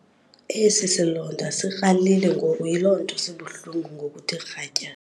Esi silonda sikralile ngoku yiloo nto sibuhlungu ngokuthe kratya.